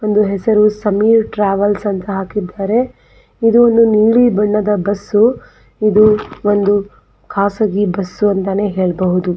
ಒಂದು ಹೆಸರು ಸಂಯುರ್ ಟ್ರಾವೆಲ್ಸ್ ಅಂತ ಹಾಕಿದ್ದಾರೆ ಇದು ಒಂದು ನೀಲಿ ಬಣ್ಣದ ಬಸ್ಸು ಇದು ಒಂದು ಖಾಸಗಿ ಬಸ್ಸು ಅಂತನೇ ಹೇಳಬಹುದು.